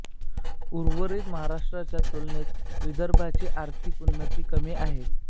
उर्वरीत महाराष्ट्राच्या तुलनेत विदर्भाची आर्थिक उन्नती कमी आहे